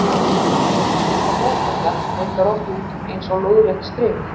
Á halanum líta doppurnar reyndar oft út eins og lóðrétt strik.